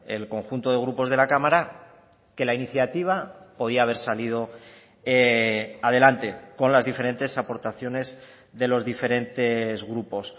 el conjunto de grupos de la cámara que la iniciativa podía haber salido adelante con las diferentes aportaciones de los diferentes grupos